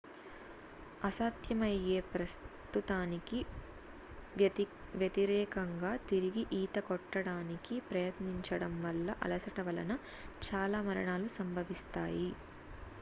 అసాధ్యమయ్యే ప్రస్తుతానికి వ్యతిరేకంగా తిరిగి ఈత కొట్టడానికి ప్రయత్నించడం వల్ల అలసట వలన చాలా మరణాలు సంభవిస్తాయి